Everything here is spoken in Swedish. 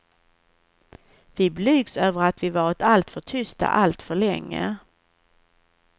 Vi blygs över att vi varit alltför tysta alltför länge.